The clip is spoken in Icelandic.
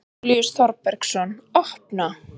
Júlíus Þorbergsson: Opna?